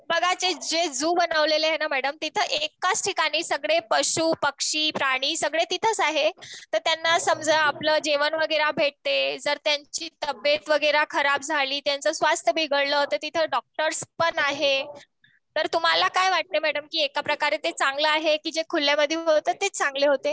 बघा जे झू बनवलेले आहे त ना मॅडम तिथे एकाच ठिकाणी सगळे पशु पक्षि प्राणी सगळे तिथेच आहेत. त्यांना समाज आपल जेवण वगैरे भेटले जर त्यांची तबयेत वगैरे खराब झाली. त्यांची स्वास्थ बिघडले, तिथे डॉक्टर्स पण आहे तुंहाला काय `तुमहाला काय वाटते मॅडम कि एकप्रकारे ते चांगलं कि जे खुल्यामध्ये होते तेच चांगले होते